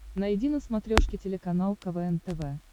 найди на смотрешке телеканал квн тв